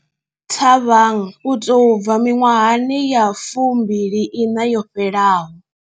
Thabang u tou bva miṅwahani ya fumbili iṋa yo fhelaho.